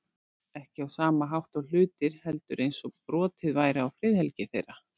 Ekki á sama hátt og hlutir, heldur eins og brotið væri á friðhelgi þeirra.